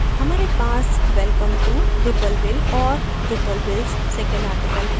हमारे पास welcome to drupalville और drupalville s second article है